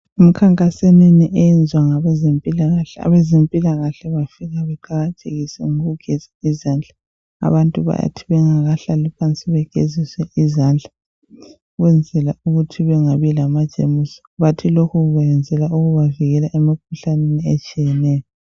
Emkhankaseneni oyenza ngabezempila kahle, abezempilakahle bafika beqakathekise ngokugezea izandla abantu bayathi bengahlali phansi baqala ngokugeziswa izandla ukwenzela ukuthi bengabi lama jemuzi bathi lokhu bakuyenzela ukubavikela emkhuhlaneni etshiyeneyo